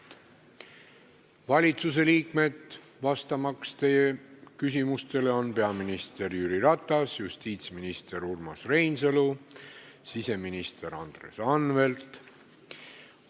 Teie küsimustele vastamas on valitsuse liikmed peaminister Jüri Ratas, justiitsminister Urmas Reinsalu ja siseminister Andres Anvelt.